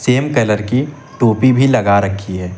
Same colour की टोपी भी लगा रखी है।